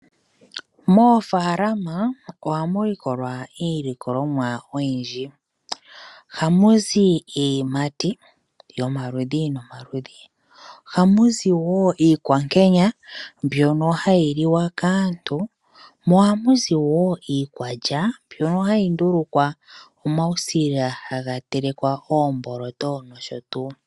Moofalama ohamu likolwa iilikolomwa oyindji. Ohamuzi iiyimati yomaludhi nomaludhi, ohamuzi woo iikwankenya mbyono hayi liwa kaantu mo ohamuzi woo iikwalya mbyono hayi ndulukwa omausila haga telekwa oomboloto nosho tuu.